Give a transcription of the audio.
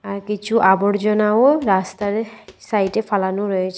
আর কিছু আবর্জনাও রাস্তার সাইডে ফালানো রয়েছে।